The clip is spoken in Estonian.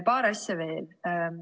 Paar asja veel.